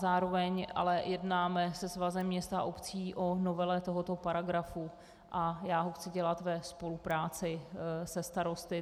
Zároveň ale jednáme se Svazem měst a obcí o novele tohoto paragrafu a já ho chci dělat ve spolupráci se starosty.